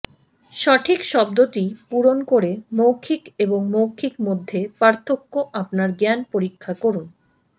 সঠিক শব্দটি পূরণ করে মৌখিক এবং মৌখিক মধ্যে পার্থক্য আপনার জ্ঞান পরীক্ষা করুন